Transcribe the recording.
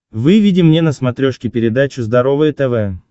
выведи мне на смотрешке передачу здоровое тв